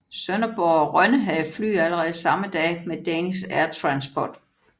Sønderborg og Rønne havde fly allerede samme dag med Danish Air Transport